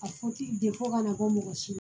A fɔ ti de fɔ ka na bɔ mɔgɔ si